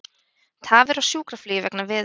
Tafir á sjúkraflugi vegna veðurs